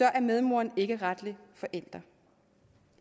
er medmoren ikke retlig forælder